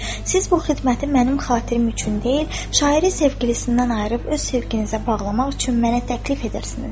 Siz bu xidməti mənim xatirim üçün deyil, şairi sevgilisindən ayırıb öz sevginizə bağlamaq üçün mənə təklif edirsiniz.